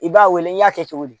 I b'a wele i y'a kɛ cogo di